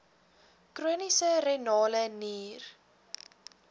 chroniese renale nier